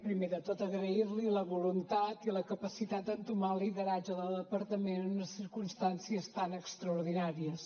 primer de tot agrair li la voluntat i la capacitat d’entomar el lideratge del departament en unes circumstàncies tan extraordinàries